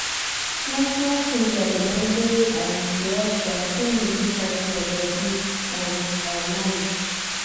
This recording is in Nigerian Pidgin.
small-small things like remembering um to rest um fit really help your body and um mind.